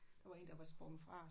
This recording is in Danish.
Der var en der var sprunget fra